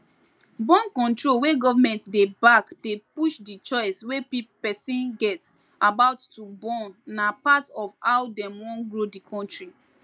borncontrol wey government dey backdey push the choice wey person get about to bornna part of how dem wan grow the country